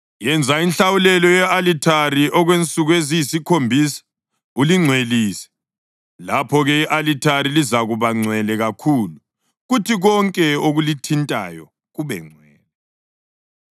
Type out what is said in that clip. Yenza inhlawulelo ye-alithare okwensuku eziyisikhombisa ulingcwelise. Lapho-ke i-alithari lizakuba ngcwele kakhulu kuthi konke okulithintayo kube ngcwele.